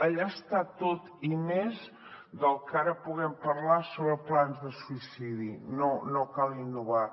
allà està tot i més del que ara puguem parlar sobre plans de suïcidi no cal innovar